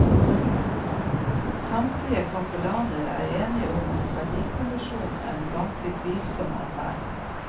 Samtlige kapellaner er enig i at verdikommisjonen er en ganske tvilsom affære.